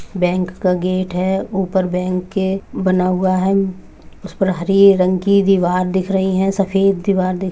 bank का gate है ऊपर बैंक के बना हुआ है उस पर हरे रंग की दिवार दिख रही है सफ़ेद दीवार दिख --